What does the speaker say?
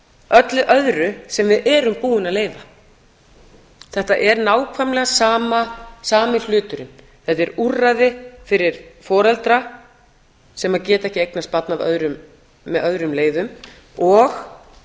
ofar öllu öðru sem við erum búin að leyfa þetta er nákvæmlega sami hluturinn þetta er úrræði fyrir foreldra sem geta ekki eignast barn eftir öðrum leiðum og